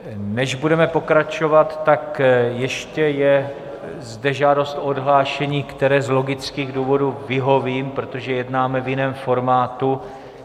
Než budeme pokračovat, tak ještě je zde žádost o odhlášení, které z logických důvodů vyhovím, protože jednáme v jiném formátu.